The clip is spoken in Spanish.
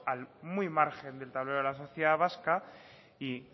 muy al margen del tablero de la sociedad vasca y